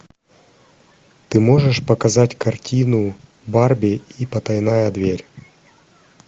ты можешь показать картину барби и потайная дверь